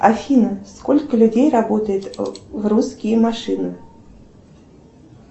афина сколько людей работает в русские машины